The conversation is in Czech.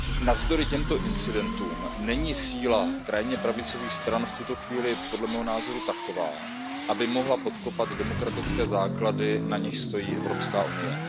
Navzdory těmto incidentům není síla krajně pravicových stran v tuto chvíli podle mého názoru taková, aby mohla podkopat demokratické základy, na nichž stojí Evropský unie.